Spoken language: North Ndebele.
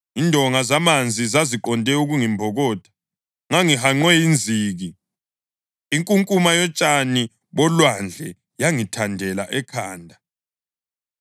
Indonga zamanzi zaziqonde ukungimbokotha, ngangihanqwe yinziki; inkunkuma yotshani bolwandle yangithandela ekhanda.